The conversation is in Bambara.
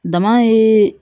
Dama ye